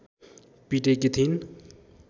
पिटेकी थिइन्